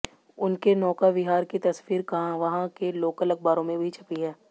उनके नौका विहार की तस्वीर वहां के लोकल अखबारों में भी छपी है